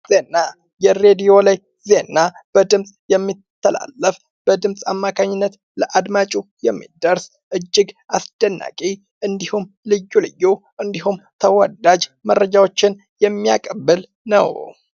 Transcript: ዜና ። የሬድዮ ላይ ዜና በድምፅ የሚተላለፍ በድምፅ አማካኝነት ለአድማጩ የሚደርስ እጅግ አስደናቂ እንዲሁም ልዩ ልዩ እንዲሁም ተወዳጅ መርምጃዎችን የሚያቀብል ነው ።